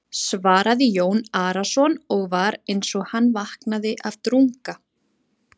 svaraði Jón Arason og var eins og hann vaknaði af drunga.